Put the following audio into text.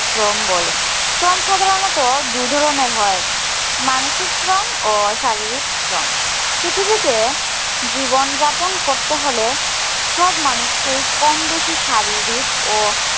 শ্রম বলে। শ্রম সাধারণত দুই ধরনের হয়। মানসিক শ্রম ও শারীরিক শ্রম। পৃথিবীতে জীবনযাপন করতে হলে সব মানুষকেই কম বেশি শারীরিক ও